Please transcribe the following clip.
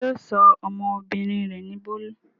Ṣé yóò sọ ọmọbìnrin rẹ̀ ní Bólú?